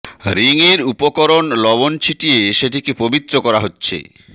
ring এর উপর লবণ ছিটিয়ে সেটিকে পবিত্র করা হচ্ছে